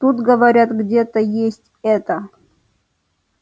тут говорят где-то есть это